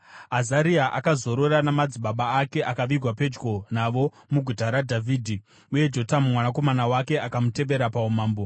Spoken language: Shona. Azaria akazorora namadzibaba ake akavigwa pedyo navo muGuta raDhavhidhi. Uye Jotamu mwanakomana wake akamutevera paumambo.